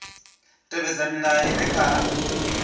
tevhedza milayo i re kha